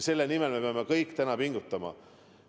Selle nimel me peame kõik täna pingutama.